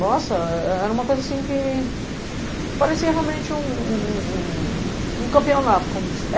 Nossa, é é era uma coisa assim que parecia realmente um um um um um um campeonato, como